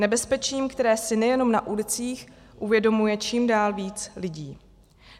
Nebezpečím, které si nejenom na ulicích uvědomuje čím dál víc lidí.